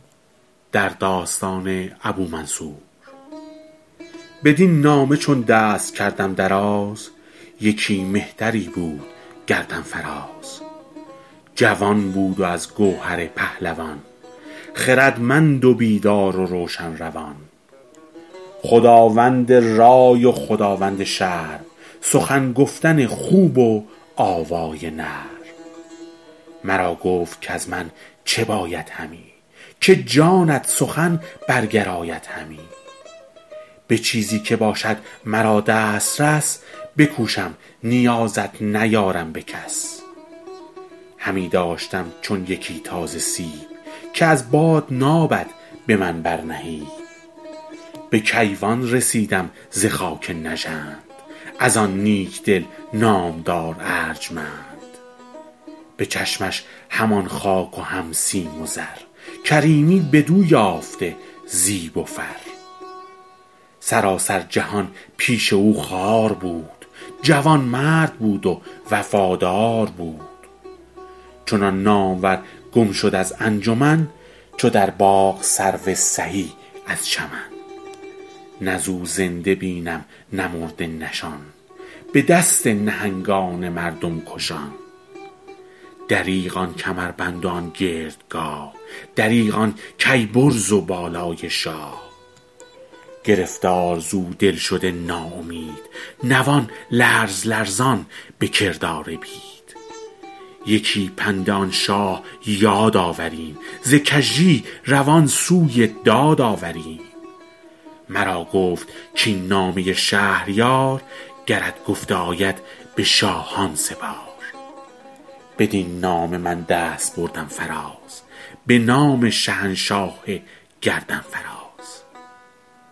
بدین نامه چون دست کردم دراز یکی مهتری بود گردن فراز جوان بود و از گوهر پهلوان خردمند و بیدار و روشن روان خداوند رای و خداوند شرم سخن گفتن خوب و آوای نرم مرا گفت کز من چه باید همی که جانت سخن برگراید همی به چیزی که باشد مرا دسترس بکوشم نیازت نیارم به کس همی داشتم چون یکی تازه سیب که از باد نامد به من بر نهیب به کیوان رسیدم ز خاک نژند از آن نیک دل نامدار ارجمند به چشمش همان خاک و هم سیم و زر کریمی بدو یافته زیب و فر سراسر جهان پیش او خوار بود جوانمرد بود و وفادار بود چنان نامور گم شد از انجمن چو در باغ سرو سهی از چمن نه ز او زنده بینم نه مرده نشان به دست نهنگان مردم کشان دریغ آن کمربند و آن گردگاه دریغ آن کیی برز و بالای شاه گرفتار ز او دل شده نا امید نوان لرز لرزان به کردار بید یکی پند آن شاه یاد آوریم ز کژی روان سوی داد آوریم مرا گفت کاین نامه شهریار گرت گفته آید به شاهان سپار بدین نامه من دست بردم فراز به نام شهنشاه گردن فراز